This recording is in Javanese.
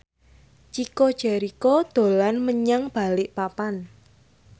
Chico Jericho dolan menyang Balikpapan